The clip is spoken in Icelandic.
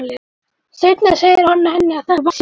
Seinna segir hann henni að þetta sé vani.